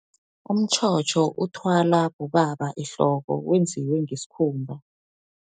Umtjhotjho, uthwala bobaba ehloko, wenziwe ngeskhumba.